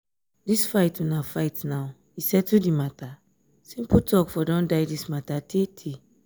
dis fight una fight now e settle the matter? simple talk for don die dis matter tay tay